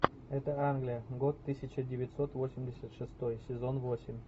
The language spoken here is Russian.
это англия год тысяча девятьсот восемьдесят шестой сезон восемь